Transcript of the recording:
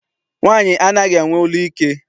Nwaanyị anaghị enwe olu ike.